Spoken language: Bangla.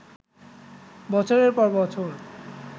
বছরের পর বছর